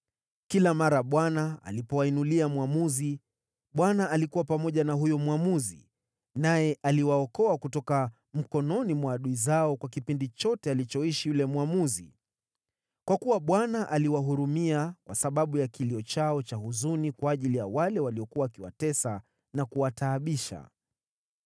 Kila mara Bwana alipowainulia mwamuzi, Bwana alikuwa pamoja na huyo mwamuzi, naye aliwaokoa kutoka mikononi mwa adui zao kwa kipindi chote alichoishi yule mwamuzi. Kwa kuwa Bwana aliwahurumia kwa sababu ya kilio chao cha huzuni kwa ajili ya wale waliokuwa wakiwatesa na kuwataabisha.